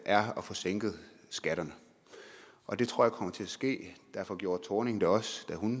er at få sænket skatterne og det tror jeg kommer til at ske derfor gjorde thorning det også da hun